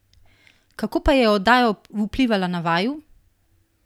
Kako pa je oddaja vplivala na vaju?